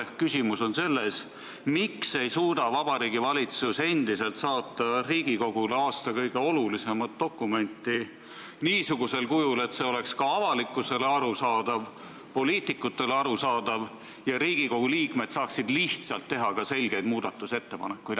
Ehk küsimus on selles, miks ei suuda Vabariigi Valitsus endiselt saata Riigikogule aasta kõige olulisemat dokumenti niisugusel kujul, et see oleks ka avalikkusele arusaadav, poliitikutele arusaadav ja Riigikogu liikmed saaksid lihtsalt teha selgeid muudatusettepanekuid.